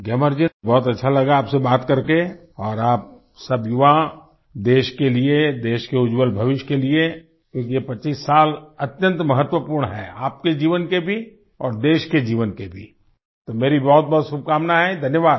ग्यामर जी बहुत अच्छा लगा आपसे बात कर करके और आप सब युवा देश के लिए देश के उज्जवल भविष्य के लिए क्योंकि ये 25 साल अत्यंत महत्वपूर्ण हैं आपके जीवन के भी और देश के जीवन के भी तो मेरी बहुत बहुत शुभकामनाएं है धन्यवाद